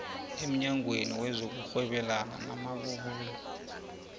emnyangweni wezokurhwebelana namabubulo